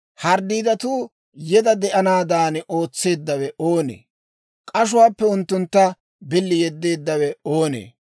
«Dembbaa haretuu yeda de'anaadan ootseeddawe oonee? K'ashuwaappe unttuntta billi yeddeeddawe oonee?